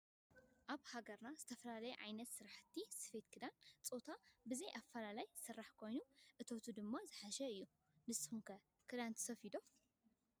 አብ ሃገርና ካብ ዝተፈላለዮ ዓይነት ስራሕቲ ሰፌት ከዳን ፆታ ብዘይ አፈላላይ ዝሰራሕ ኮይኑ እተቱ ድማ ዝሐሸ አዮ ።ንሰኩም ከ ክዳን ትሰፍዶ ?